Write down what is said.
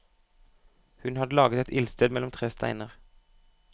Hun hadde laget et ildsted mellom tre steiner.